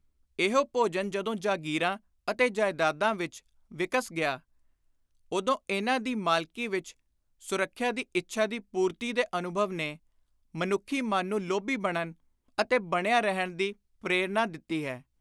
ਇਹੋ ਭੋਜਨ ਜਦੋਂ ਜਾਗੀਰਾਂ ਅਤੇ ਜਾਇਦਾਦਾਂ ਵਿਚ ਵਿਕਸ ਗਿਆ, ਉਦੋਂ ਇਨ੍ਹਾਂ ਦੀ ਮਾਲਕੀ ਵਿਚ ਸੁਰੱਖਿਆ ਦੀ ਇੱਛਾ ਦੀ ਪੁਰਤੀ ਦੇ ਅਨੁਭਵ ਨੇ ਮਨੁੱਖੀ ਮਨ ਨੂੰ ਲੋਭੀ ਬਣਨ ਅਤੇ ਬਣਿਆ ਰਹਿਣ ਦੀ ਪ੍ਰੋਰਨਾ ਦਿੱਤੀ ਹੈ।